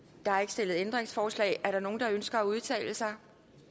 der er ikke stillet ændringsforslag er der nogen der ønsker at udtale sig